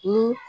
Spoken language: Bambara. Ni